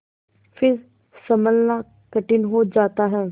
फिर सँभलना कठिन हो जाता है